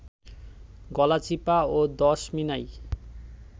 গলাচিপা ও দশমিনায়